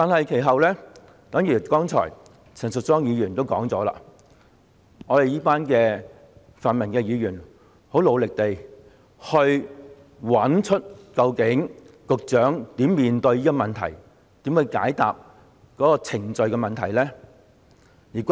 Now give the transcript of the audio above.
其後，正如陳淑莊議員剛才所說，我們一班泛民議員很努力地找出局長究竟可如何解決這個有關程序的問題。